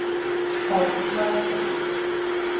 Páll Valsson.